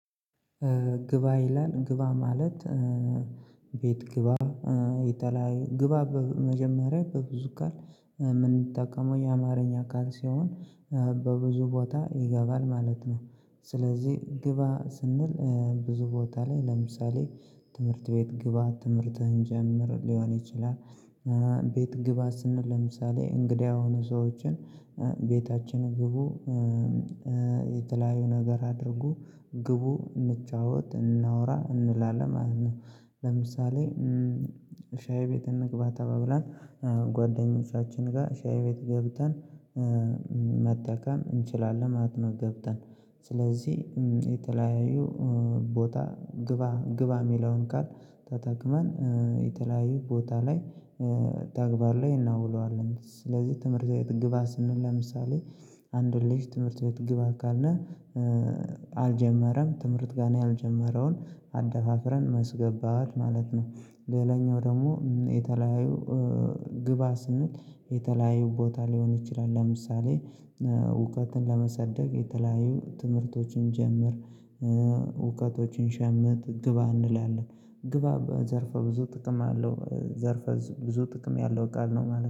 ግባ ይላል ግባ ማለት ቤት ግባ ይባላል። ግባ በመጀመሪያ በብዙ ቃል የምንጠቀመው የአማርኛ አካል ሲሆን በብዙ ቦታ ይገባል ማለት ነው። ስለዚህ ግባ ስንል ብዙ ቦታ ላይ ለምሳሌ ትምህርት ቤት ግባ ትምህርትህን ጀምር ሊሆን ይችላል። ቤት ግባ ስንል ለምሳሌ እንግዳ የሆኑ ሰዎችን ቤታችን ግቡ የተለያዩ ነገር አድርጉ ግቡ እንጫወት እናውራ እንላለን ማለት ነው። ለምሳሌ ሻይ ቤት እንግባ ተባብላን ጓደኞቻችን ጋር ሻይ ቤት ገብተን መጠቀም እንችላለን ማለት ነው። ገብተን ስለዚህ የተለያዩ ቦታ ግባ ግባ የሚለውን ቃል ተጠቅመን የተለያዩ ቦታ ላይ ተግባር ላይ እናውለዋለን። ስለዚህ ትምህርት ግባ ስንል ለምሳሌ አንድ ልጅ ትምህርት ቤት ግባ ካልነ አልጀመረም ትምህርት ጋር ነው ያልጀመረውን አደፋፍረን ማስገባት ማለት ነው። ሌላኛው ደግሞ የተለያዩ ግባ ስንል የተለያዩ ቦታ ሊሆን ይችላል። ለምሳሌ እውቀትን ለመሰነቅ የተለያዩ ትምህርቶችን ጀምር እውቀቶችን ሸምት ግባ እንላለን። ግባ በዘርፈ ብዙ ጥቅም አለው ዘርፈ ብዙ ጥቅም ያለው ቃል ነው ማለት ነው